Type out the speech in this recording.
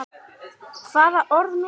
Hvaða orð notarðu oftast?